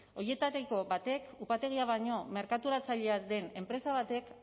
horietariko batek upategia baino merkaturatzailea den enpresa batek